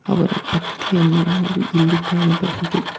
ಅವರ ಭಕ್ತಿಯನ್ನು ನಾವು ಇಲ್ಲಿ ಕಾಣಬಹುದು.